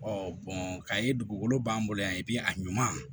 ka ye dugukolo b'an bolo yan a ɲuman